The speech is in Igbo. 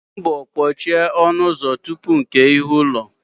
Gba mbọ kpochie ọnụ ụzọ tupu nkè ihu ụlọ